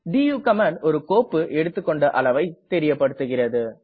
to command ஒரு கோப்பு எடுத்துக்கெண்ட அளவை தெரியப்படுத்துகிறது